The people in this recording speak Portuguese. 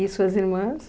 E suas irmãs?